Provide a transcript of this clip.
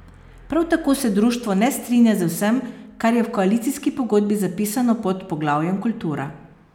Prav tako se društvo ne strinja z vsem, kar je v koalicijski pogodbi zapisano pod poglavjem Kultura.